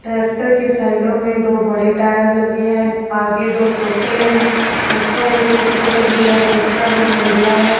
Tractor के साइडो में दो बड़े टायर लगे हैं आगे दो छोटे हैं ऊपर एक छतरी लगी है जिसका रंग नीला है।